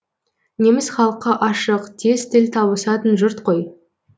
неміс халқы ашық тез тіл табысатын жұрт қой